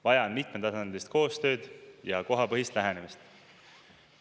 Vaja on mitmetasandilist koostööd ja kohapõhist lähenemist.